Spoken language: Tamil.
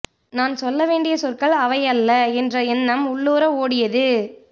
நான் சொல்ல வேண்டிய சொற்கள் அவை அல்ல என்ற எண்ணம் உள்ளூர ஓடியது